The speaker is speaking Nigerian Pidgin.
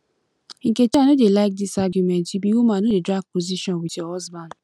nkechi i no dey like dis argument you be woman no dey drag position with your husband